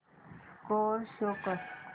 score show कर